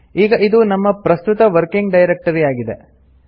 ಈಗ ಇದು ನಮ್ಮ ಪ್ರಸ್ತುತ ವರ್ಕಿಂಗ್ ಡೈರೆಕ್ಟರಿ ಆಗಿದೆ